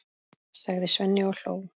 sagði Svenni og hló.